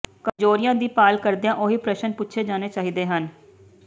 ਕਮਜ਼ੋਰੀਆਂ ਦੀ ਭਾਲ ਕਰਦਿਆਂ ਉਹੀ ਪ੍ਰਸ਼ਨ ਪੁੱਛੇ ਜਾਣੇ ਚਾਹੀਦੇ ਹਨ